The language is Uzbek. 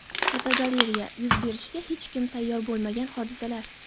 Fotogalereya: Yuz berishiga hech kim tayyor bo‘lmagan hodisalar.